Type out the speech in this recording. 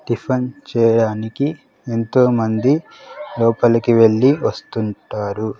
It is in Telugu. టిఫన్ చేయడానికి ఎంతోమంది లోపలికి వెళ్ళి వస్తుంటారు.